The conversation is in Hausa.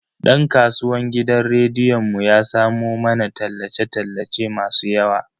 Dan kasuwan gidan rediyon mu ya samo mana tallace tallace masu yawa.